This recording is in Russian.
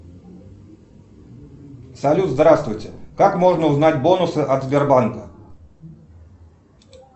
салют здравствуйте как можно узнать бонусы от сбербанка